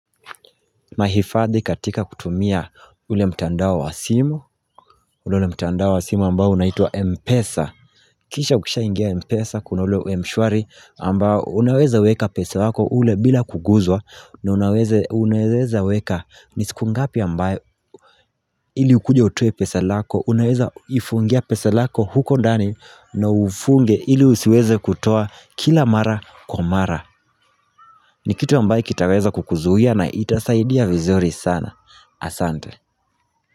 Mahifadhi katika kutumia ule mtandao wa simu, ule mtandao wa simu ambao unaitwa Mpesa. Kisha ukishaingia Mpesa kuna ule mshwari ambao unaweza weka pesa wako ule bila kuguzwa na unaweza weka nisiku ngapi ambayo ili ukuje utoe pesa lako, unaweza ifungia pesa lako huko ndani na ufunge ili usiweze kutoa kila mara kwa mara. Ni kitu ambayo kitaweza kukuzuia na itasaidia vizuri sana. Asante.